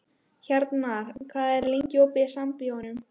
Hjarnar, hvað er lengi opið í Sambíóunum?